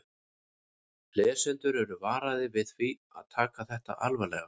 Lesendur eru varaðir við því að taka þetta alvarlega.